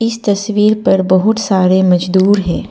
इस तस्वीर पर बहुत सारे मजदूर हैं।